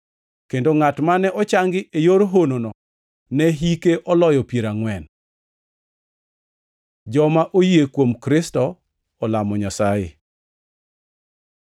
kendo ngʼat mane ochangi e yor honono ne hike oloyo piero angʼwen. Joma oyie kuom Kristo olamo Nyasaye